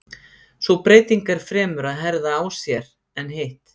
Sú breyting er fremur að herða á sér en hitt.